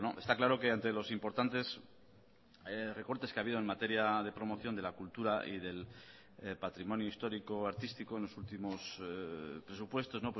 está claro que ante los importantes recortes que ha habido en materia de promoción de la cultura y del patrimonio histórico artístico en los últimos presupuestos